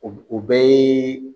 O b o bɛɛ yee